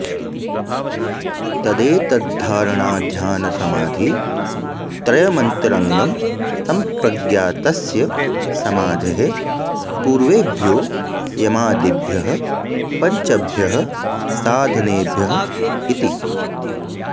तदेतद्धारणाध्यानसमाधित्रयमन्तरङ्गं सम्प्रज्ञातस्य समाधेः पूर्वेभ्यो यमादिभ्यः पञ्चभ्यः साधनेभ्य इति